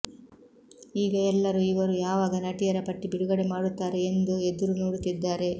ಈಗ ಎಲ್ಲರು ಇವರು ಯಾವಾಗ ನಟಿಯರ ಪಟ್ಟಿ ಬಿಡುಗಡೆ ಮಾಡುತ್ತಾರೆ ಎಂದು ಎದುರು ನೋಡುತ್ತಿದ್ದಾರೆ